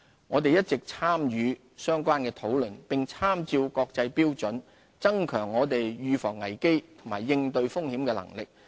香港一直積極參與相關討論，並參照國際標準，增強我們預防危機及應對風險的能力。